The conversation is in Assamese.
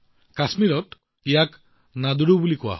কাশ্মীৰত ইয়াক নাদ্ৰু বুলি কোৱা হয়